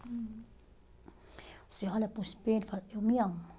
Uhum. Você olha para o espelho e fala, eu me amo.